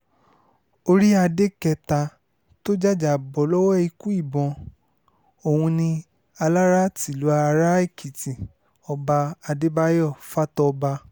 orí adé kẹta tó jàjàbọ́ lọ́wọ́ ikú ìbọn ọ̀hún ni alára tílu ara-èkìtì ọba adébáyò fatọ́ba